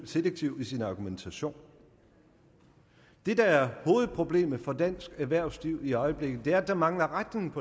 selektiv i sin argumentation det der er hovedproblemet for dansk erhvervsliv i øjeblikket er at der mangler retning